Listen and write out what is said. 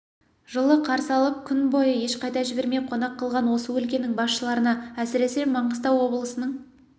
жылы қарсы алып күн бойы ешқайда жібермей қонақ қылған осы өлкенің басшыларына әсіресе маңғыстау облысының